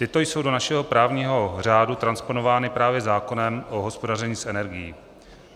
Tyto jsou do našeho právního řádu transponovány právě zákonem o hospodaření s energií.